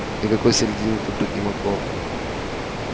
никакой середины тут быть не могло